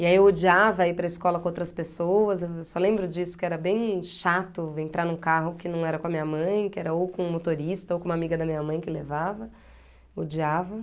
E aí eu odiava ir para a escola com outras pessoas, eu só lembro disso, que era bem chato entrar num carro que não era com a minha mãe, que era ou com um motorista ou com uma amiga da minha mãe que levava, odiava.